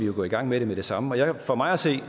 vi gå i gang med det med det samme og for mig at se